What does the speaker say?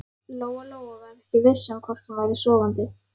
Lóa-Lóa var ekki viss um hvort hún væri sofandi.